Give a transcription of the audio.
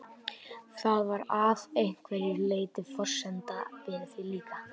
Það var að einhverju leyti forsenda fyrir því líka.